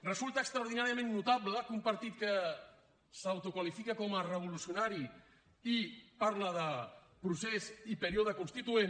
resulta extraordinàriament notable que un partit que s’autoqualifica com a revolucionari i parla de procés i període constituent